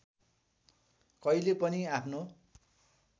कहिले पनि आफ्नो